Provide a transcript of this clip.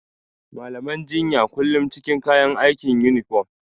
Malaman jinya kullum cikin kayan aiki (Yunifom).